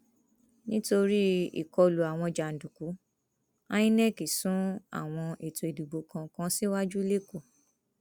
nítorí àkọlù àwọn jàǹdùkú inec sún àwọn ètò ìdìbò kan kan síwájú lẹkọọ